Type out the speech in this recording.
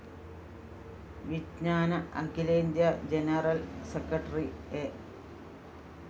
വിജ്ഞാന അഖിലേന്ത്യ general secretary A